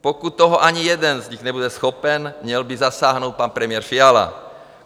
Pokud toho ani jeden z nich nebude schopen, měl by zasáhnout pan premiér Fiala.